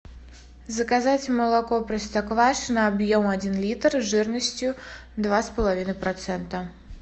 заказать молоко простоквашино объем один литр жирностью два с половиной процента